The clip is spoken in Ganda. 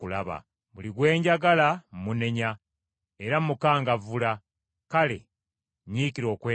Buli gwe njagala mmunenya era mmukangavvula; kale nyiikira okwenenya.